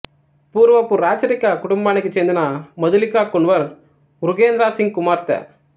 పూర్వపు రాచరిక కుటుంబానికి చెందిన మధులిక కున్వర్ మృగేంద్ర సింగ్ కుమార్తె